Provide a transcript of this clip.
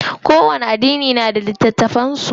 Kowani addini na da littafan su.